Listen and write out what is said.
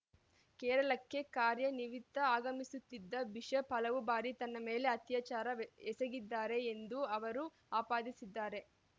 ಕೇರಳಕ್ಕೆ ಕಾರ್ಯ ನಿವಿತ್ತ ಆಗಮಿಸುತ್ತಿದ್ದ ಬಿಷಪ್‌ ಹಲವು ಬಾರಿ ತನ್ನ ಮೇಲೆ ಅತ್ಯಾಚಾರ ವೆ ಎಸಗಿದ್ದಾರೆ ಎಂದು ಅವರು ಆಪಾದಿಸಿದ್ದಾರೆ